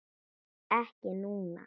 Ekki núna.